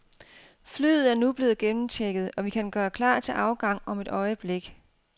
Flyet er nu blevet gennemchecket, og vi kan gøre klar til afgang om et øjeblik.